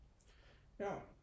Ja